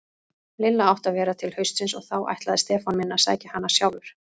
Lilla átti að vera til haustsins og þá ætlaði Stefán minn að sækja hana sjálfur.